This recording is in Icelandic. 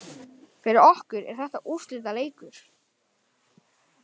Fyrir okkur er þetta úrslitaleikur